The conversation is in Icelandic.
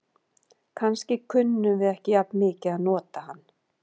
Kannski kunnum við ekki jafn mikið að nota hann.